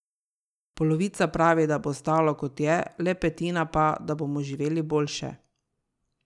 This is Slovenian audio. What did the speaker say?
Polovica pravi, da bo ostalo kot je, le petina pa, da bomo živeli boljše.